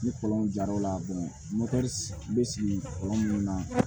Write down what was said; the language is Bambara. Ni kɔlɔn jar'o la bɛ sigi kɔlɔn minnu na